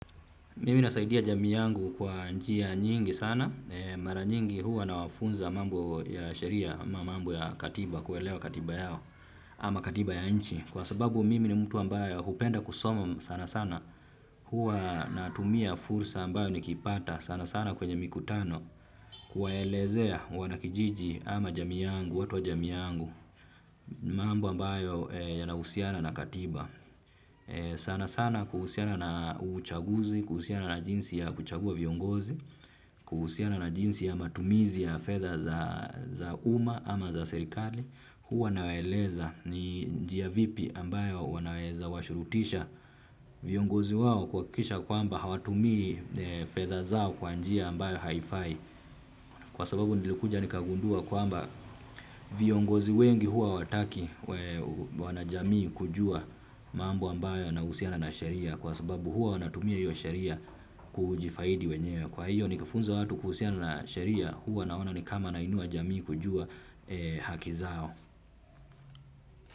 Mimi nasaidia jamii yangu kwa njia nyingi sana. Mara nyingi huwa na wafunza mambo ya sheri ama, mambo ya katiba, kuelewa katiba yao ama katiba ya nchi. Kwa sababu mimi ni mtu ambaye hupenda kusoma sana sana. Huwa na tumia fursa ambayo ni kipata sana sana kwenye mikutano. Kuwaelezea wanakijiji ama jamii yangu, watu wa jamii yangu, mambo ambayo ya na husiana na katiba. Sana sana kuhusiana na uchaguzi, kuhusiana na jinsi ya kuchagua viongozi kuhusiana na jinsi ya matumizi ya fedha za uma ama za serikali huwa nawaeleza ni njiia vipi ambayo wanaweza washurutisha viongozi wao kuhakikisha kwamba hawatumii fedha zao kwa njia ambayo haifai. Kwa sababu nilikuja nikagundua kwa amba viongozi wengi huwa wataki wana jamii kujua mambo ambayo yana husiana na sheria kwa sababu huwa wanatumia hiyo sheria kujifaidi wenyewe. Kwa hiyo nikifunza watu kuhusiana na sheria huwa naona nikama nainua jamii kujua haki zao.